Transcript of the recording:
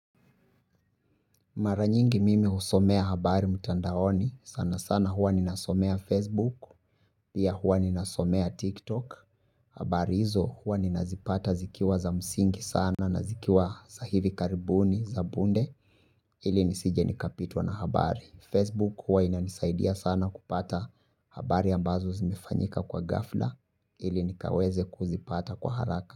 Maranyingi mimi husomea habari mutandaoni. Sana sana hua ninasomea Facebook. Pia hua ninasomea TikTok. Habari izo hua nina zipata zikiwa za msingi sana na zikiwa sahivi karibuni za bunde ili nisije nikapitwa na habari. Facebook hua inanisaidia sana kupata habari ambazo zimefanyika kwa gafla ili nikaweze kuzipata kwa haraka.